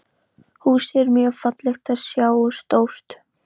Húsið er mjög fallegt að sjá og stórt.